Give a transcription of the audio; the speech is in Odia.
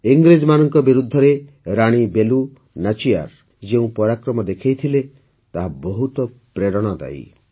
ଇଂରେଜମାନଙ୍କ ବିରୁଦ୍ଧରେ ରାଣୀ ବେଲୁ ନାଚିୟାର ଯେଉଁ ପରାକ୍ରମ ଦେଖାଇଥିଲେ ତାହା ବହୁତ ପ୍ରେରଣାଦାୟୀ